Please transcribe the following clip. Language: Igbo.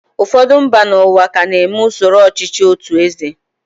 Ụfọdụ mba n'ụwa ka na-eme usoro ọchịchị otụ eze.